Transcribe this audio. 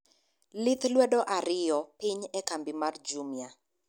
lith lwedo ariyo piny e kambi mar jumia